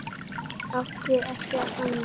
Átti ekkert annað.